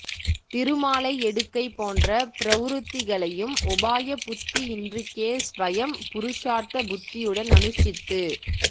திருமாலை எடுக்கை போன்ற பிரவ்ருத்திகளையும் உபாய புத்தி இன்றிக்கே ஸ்வயம் புருஷார்த்த புத்தியுடன் அனுஷ்ட்டித்து